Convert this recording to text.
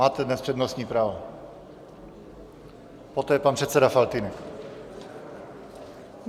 Máte dnes přednostní právo, poté pan předseda Faltýnek.